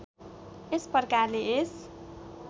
यस प्रकारले यस